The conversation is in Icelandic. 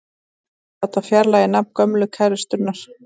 Vildi láta fjarlægja nafn gömlu kærustunnar